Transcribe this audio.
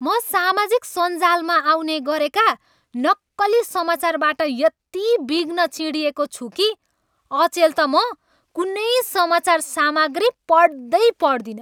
म सामाजिक सञ्जालमा आउने गरेका नक्कली समाचारबाट यति बिघ्न चिढिएको छु कि अचेल त म कुनै समाचार सामग्री पढ्दै पढ्दिनँ।